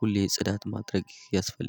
ሁሌ ጽዳት ማድረግ ያስፈልጋል